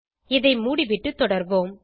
இது மூடிவிட்டு தொடர்வோம்